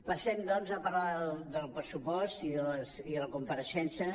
passem doncs a parlar del pressupost i de la compareixença